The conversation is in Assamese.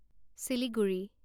চিলিগুৰি